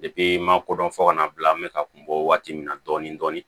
n ma kodɔn fo kana bila n be ka kunbɔ waati min na dɔɔnin dɔɔnin